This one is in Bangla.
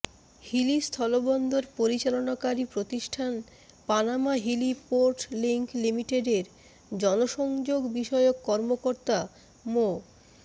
হিলি স্থলবন্দর পরিচালনাকারী প্রতিষ্ঠান পানামা হিলি পোর্ট লিংক লিমিটেডের জনসংযোগ বিষয়ক কর্মকর্তা মো